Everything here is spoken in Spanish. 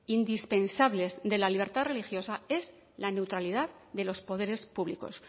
indispensables de la libertad religiosa es la neutralidad de los poderes públicos